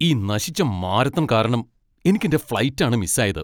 ഈ നശിച്ച മാരത്തൺ കാരണം എനിക്കെൻ്റെ ഫ്ലൈറ്റ് ആണ് മിസ്സായത്.